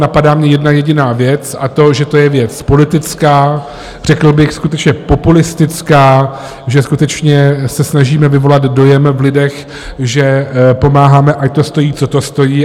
Napadá mě jedna jediná věc, a to, že to je věc politická, řekl bych skutečně populistická, že skutečně se snažíme vyvolat dojem v lidech, že pomáháme, ať to stojí, co to stojí.